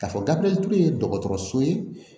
K'a fɔ gabiriyɛri ture ye dɔgɔtɔrɔso ye